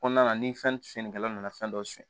Kɔnɔna na ni fɛn tiɲɛnikɛla nana fɛn dɔ suɲɛ